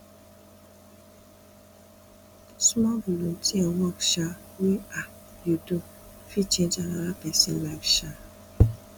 small volunteer work um wey um you do fit change anoda pesin life um